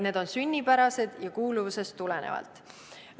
Need on sünnipärased ja kuuluvusest tulenevad.